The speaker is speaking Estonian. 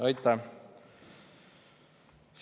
Aitäh!